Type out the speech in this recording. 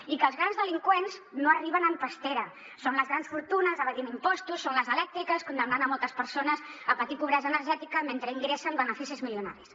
i que els grans delinqüents no arriben en pastera són les grans fortunes evadint impostos són les elèctriques condemnant moltes persones a patir pobresa energètica mentre ingressen beneficis milionaris